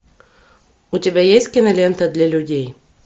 у тебя есть кинолента для людей